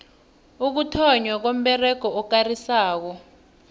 ukuthonnywa komberego okarisako